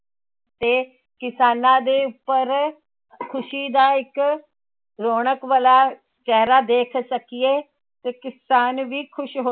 ਤੇ ਕਿਸਾਨਾਂ ਦੇ ਉੱਪਰ ਖ਼ੁਸ਼ੀ ਦਾ ਇੱਕ ਰੌਣਕ ਵਾਲਾ ਚਿਹਰਾ ਦੇਖ ਸਕੀਏ ਤੇ ਕਿਸਾਨ ਵੀ ਖ਼ੁਸ਼ ਹੋ,